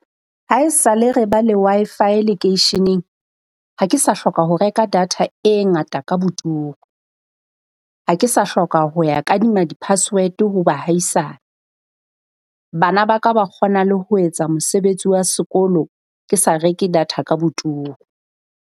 Ha e sa le re ba le Wi-Fi lekeisheneng ha ke sa hloka ho reka data e ngata ka boturu. Ha ke sa hloka ho ya kadima di-password ho baahisane. Bana ba ka ba kgona le ho etsa mosebetsi wa sekolo ke sa reke data ka boturu.